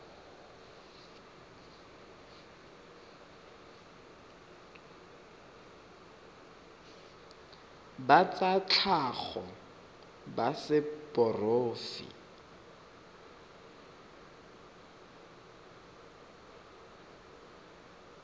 ba tsa tlhago ba seporofe